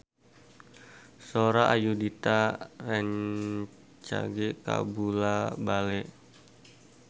Sora Ayudhita rancage kabula-bale